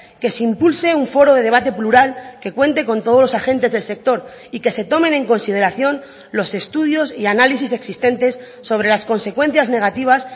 que se impulse un foro de debate plural que cuente con todos los agentes del sector y que se tomen en consideración los estudios y análisis existentes sobre las consecuencias negativas